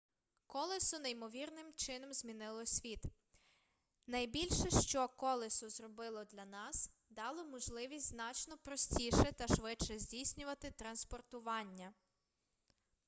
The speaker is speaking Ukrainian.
колесо неймовірним чином змінило світ найбільше що колесо зробило для нас дало можливість значно простіше та швидше здійснювати транспортування